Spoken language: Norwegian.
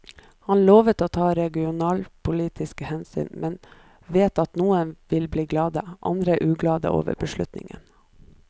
Han lovet å ta regionalpolitiske hensyn, men vet at noen vil bli glade, andre uglade over beslutningen.